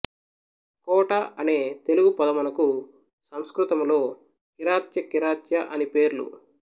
కోట అనే తెలుగు పదమునకు సంస్కృతములో కిరాత్య కిర్యాతఅని పేర్లు